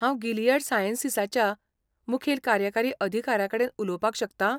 हांव गिलियड सायंसीसाच्या मुखेल कार्यकारी अधिकाऱ्याकडेन उलोवपाक शकतां?